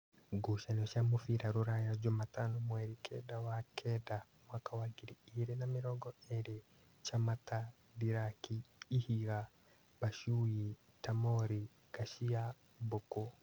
Ngucanio cia mũbira Ruraya Jumatano mweri kenda wa kenda mwaka wa ngiri igĩrĩ na mĩrongo ĩrĩ: Chamata, Ndiraki, Ihiga, Bashuyi, Tamori, Ngacia, Mbuku